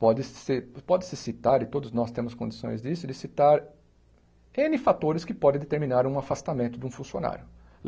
Pode-se pode-se citar, e todos nós temos condições disso, de citar êne fatores que podem determinar um afastamento de um funcionário.